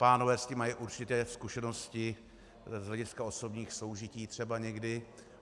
Pánové s tím mají určitě zkušenosti z hlediska osobních soužití třeba někdy.